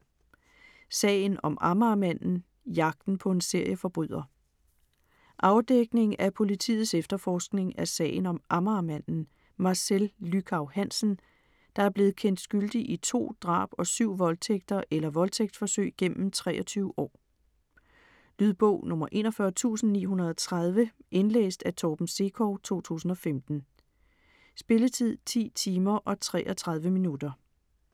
Sagen om Amagermanden: jagten på en serieforbryder Afdækning af politiets efterforskning af sagen om "Amagermanden", Marcel Lychau Hansen, der er blevet kendt skyldig i to drab og syv voldtægter eller voldtægtsforsøg gennem 23 år. Lydbog 41930 Indlæst af Torben Sekov, 2015. Spilletid: 10 timer, 33 minutter.